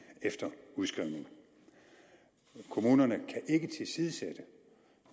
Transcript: efter udskrivning kommunerne